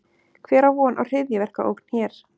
Hver á von á hryðjuverkaógn hér?